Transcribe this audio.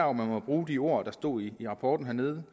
om man må bruge de ord der står i rapporten hernede